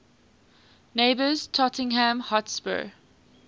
neighbours tottenham hotspur